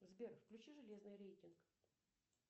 сбер включи железный рейтинг